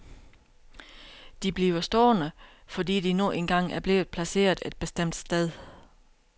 De bliver stående, fordi de nu engang er blevet placeret et bestemt sted.